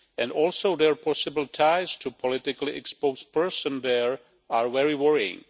and also their possible ties to politically exposed persons there are very worrying.